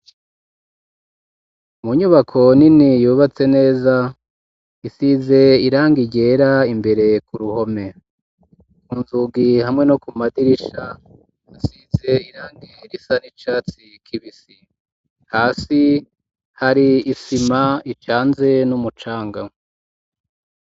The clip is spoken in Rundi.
Munyubako nini yubatse neza isize iranga ijera imbere ku ruhome unzugi hamwe no ku madirisha nsize irang iirisana icatsi kibisi hasi hari isima icanze n'umucangamwe.